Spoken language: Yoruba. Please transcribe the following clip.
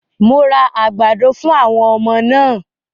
Mo ra àgbàdo fún àwọn ọmọ náà